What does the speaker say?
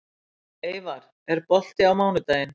Eyvar, er bolti á mánudaginn?